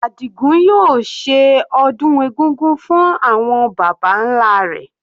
Adigun yóò ṣe ọdún egúngún fún àwọn baba nlá rẹ̀.